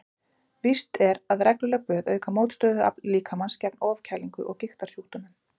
Víst er að regluleg böð auka mótstöðuafl líkamans gegn ofkælingu og gigtarsjúkdómum.